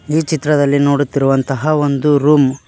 ಈ ಚಿತ್ರದಲ್ಲಿ ನೋಡುತ್ತಿರುವಂತಹ ಒಂದು ರೂಮ್ .